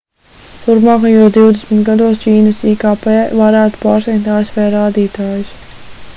turpmākajos divdesmit gados ķīnas ikp varētu pārsniegt asv rādītājus